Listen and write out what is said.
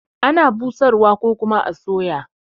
Ana busar wa ko kuma a soya.